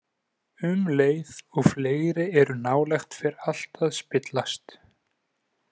Um leið og fleiri eru nálægt fer allt að spillast.